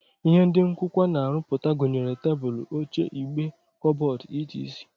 Ihe ndị nkụkwa na-arụpụta gụnyere tebụl, oche, igbe, kọbọd, etc